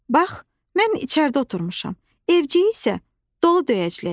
Bax, mən içəridə oturmuşam, evcik isə dolu döyəcləyir.